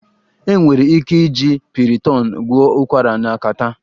Enwere ike iji Piriton gwọọ ụkwara na catarrh